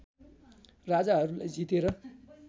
राजाहरूलाई जितेर